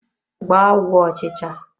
Gbaa ọgwụ ọchịcha!